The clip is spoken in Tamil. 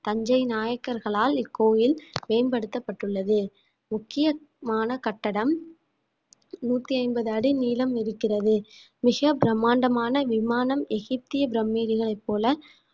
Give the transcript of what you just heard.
தஞ்சை நாயக்கர்களால் இக்கோயில் மேம்படுத்தப்பட்டுள்ளது முக்கியமான கட்டடம் நூத்தி ஐம்பது அடி நீளம் இருக்கிறது மிக பிரம்மாண்டமான விமானம் எகிப்திய பிரமிடுகளைப் போல